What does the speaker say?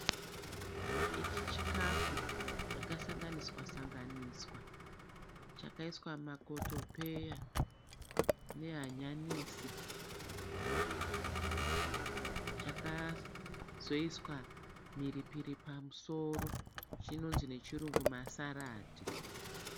Ichi chikafu chakasanganiswa sanganiswa chakaiswa makotopeya nehanyanisi. Chakazoiswa mhiripiri pamusoro chinonzi nechirungu ma(salads).